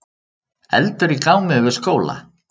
Eldur í gámi við skóla